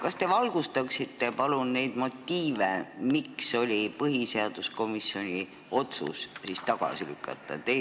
Kas te valgustaksite palun neid motiive, miks otsustas põhiseaduskomisjon eelnõu tagasi lükata?